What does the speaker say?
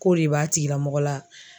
K'o de b'a tigilamɔgɔ la.